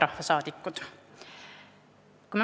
Head rahvasaadikud!